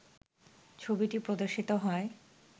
ছবিটি প্রদর্শিত হয়